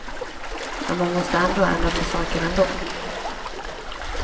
Men man måste ändå ändra på saker ändå.